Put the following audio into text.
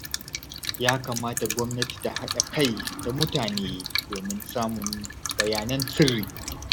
Ya kamata gwamnati ta haɗa kai da mutane domin samun bayanan sirri